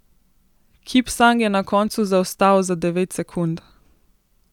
Kipsang je na koncu zaostal za devet sekund.